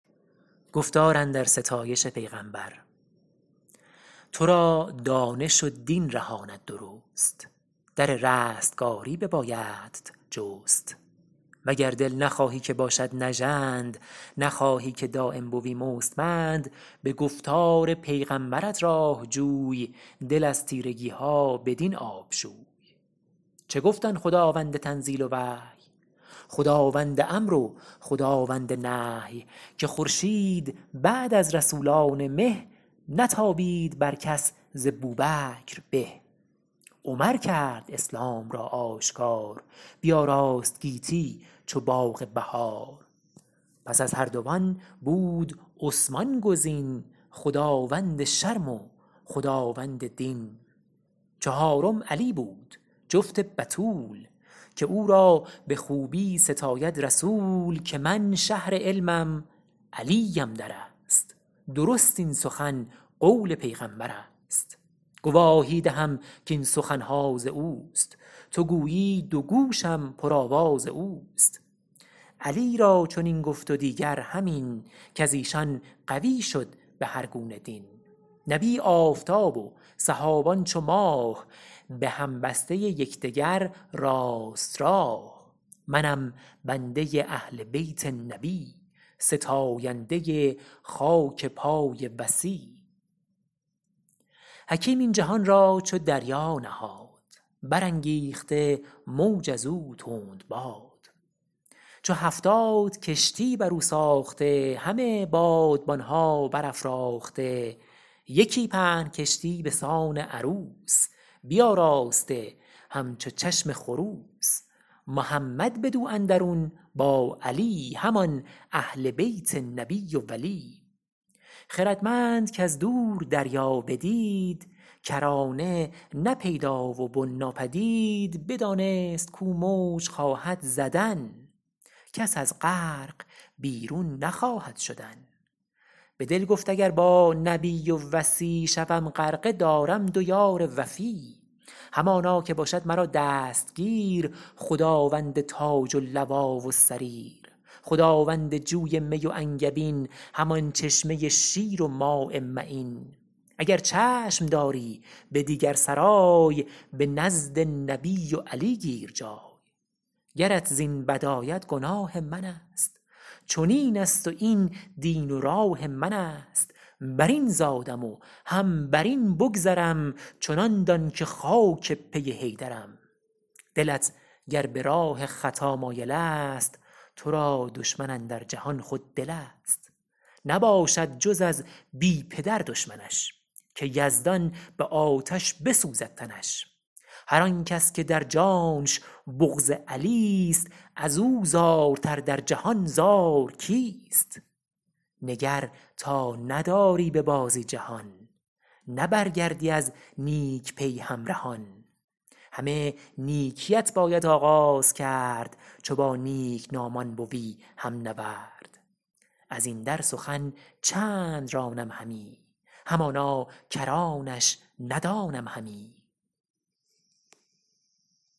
تو را دانش و دین رهاند درست در رستگاری ببایدت جست وگر دل نخواهی که باشد نژند نخواهی که دایم بوی مستمند به گفتار پیغمبرت راه جوی دل از تیرگی ها بدین آب شوی چه گفت آن خداوند تنزیل و وحی خداوند امر و خداوند نهی که خورشید بعد از رسولان مه نتابید بر کس ز بوبکر به عمر کرد اسلام را آشکار بیاراست گیتی چو باغ بهار پس از هر دو آن بود عثمان گزین خداوند شرم و خداوند دین چهارم علی بود جفت بتول که او را به خوبی ستاید رسول که من شهر علمم علیم در است درست این سخن قول پیغمبر است گواهی دهم کاین سخن ها از اوست تو گویی دو گوشم پر آواز اوست علی را چنین گفت و دیگر همین کز ایشان قوی شد به هر گونه دین نبی آفتاب و صحابان چو ماه به هم بسته یک دگر راست راه منم بنده اهل بیت نبی ستاینده خاک پای وصی حکیم این جهان را چو دریا نهاد برانگیخته موج از او تندباد چو هفتاد کشتی بر او ساخته همه بادبان ها بر افراخته یکی پهن کشتی به سان عروس بیاراسته همچو چشم خروس محمد بدو اندرون با علی همان اهل بیت نبی و ولی خردمند کز دور دریا بدید کرانه نه پیدا و بن ناپدید بدانست کو موج خواهد زدن کس از غرق بیرون نخواهد شدن به دل گفت اگر با نبی و وصی شوم غرقه دارم دو یار وفی همانا که باشد مرا دستگیر خداوند تاج و لوا و سریر خداوند جوی می و انگبین همان چشمه شیر و ماء معین اگر چشم داری به دیگر سرای به نزد نبی و علی گیر جای گرت زین بد آید گناه من است چنین است و این دین و راه من است بر این زادم و هم بر این بگذرم چنان دان که خاک پی حیدرم دلت گر به راه خطا مایل است تو را دشمن اندر جهان خود دل است نباشد جز از بی پدر دشمنش که یزدان به آتش بسوزد تنش هر آنکس که در جانش بغض علی ست از او زارتر در جهان زار کیست نگر تا نداری به بازی جهان نه برگردی از نیک پی همرهان همه نیکی ات باید آغاز کرد چو با نیک نامان بوی هم نورد از این در سخن چند رانم همی همانا کرانش ندانم همی